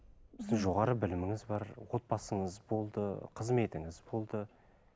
сіз жоғары біліміңіз бар отбасыңыз болды қызметіңіз болды